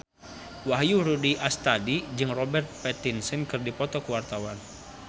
Wahyu Rudi Astadi jeung Robert Pattinson keur dipoto ku wartawan